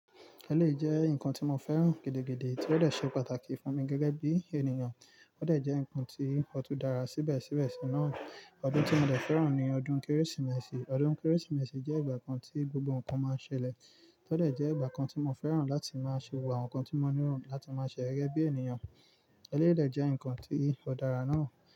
Ẹlẹ́yìí jẹ́ nǹkan tí mo fẹ́ràn gidi gidi, tí ó dẹ̀ ṣe pàtàkì fún mi gẹ́gẹ́ bí ènìyàn. Ó dẹ̀ jẹ́ nǹkan tí ó tú dara síbẹ̀síbẹ̀ sí náà. Ọdún tí mo dẹ̀ fẹ́ràn ni ọdún Kérésìmesì. Ọdún Kérésìmesì jẹ́ ìgbà kan tí gbogbo nǹkan máa ń ṣẹlẹ̀. Ó dẹ̀ jẹ́ ìgbà kan tí mo fẹ́ràn láti máa ṣe wà nǹkan tí mo níran láti máa ṣe gẹ́ bí ènìyàn. Ẹlẹ́yìí dẹ̀ jẹ́ nǹkan tí ó dára náà.